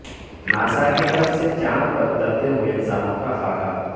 NASA کی طرف سے چاند پر اترتے ہوئے انسانوں کا خاکہ